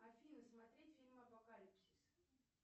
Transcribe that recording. афина смотреть фильм апокалипсис